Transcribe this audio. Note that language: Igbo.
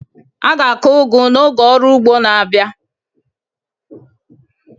A ga-akụ ugu n'oge ọrụ ugbo na-abia.